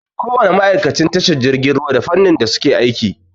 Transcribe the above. Ko wani ma'aikacin tashar jirgin ruwa da fannin da suke aiki.